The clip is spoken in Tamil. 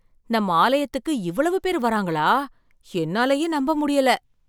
நம்ம ஆலயத்துக்கு இவ்வளவு பேர் வராங்களா, என்னாலயே நம்ப முடியல!